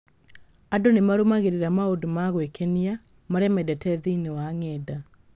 Andũ nĩ marũmagĩrĩra maũndũ ma gwĩkenia marĩa mendete thĩinĩ wa ng’enda.